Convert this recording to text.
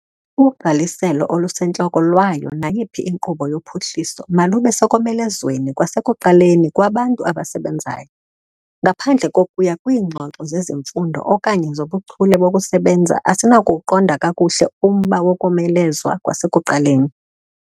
Ugqaliselo olusentloko lwayo nayiphi inkqubo yophuhliso malube sekomelezweni kwasekuqaleni kwabantu abasebenzayo. Ngaphandle kokuya kwiingxoxo zezifundo okanye zobuchule bokusebenza, asinakuwuqonda kakuhle umba wokomelezwa kwasekuqaleni.